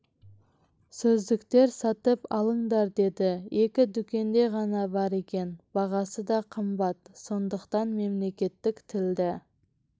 сөздіктер сатып алыңдар деді екі дүкенде ғана бар екен бағасы да қымбат сондықтан мемлекеттік тілді